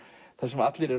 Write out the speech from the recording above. þar sem allir